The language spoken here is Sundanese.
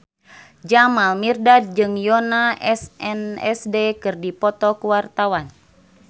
Jamal Mirdad jeung Yoona SNSD keur dipoto ku wartawan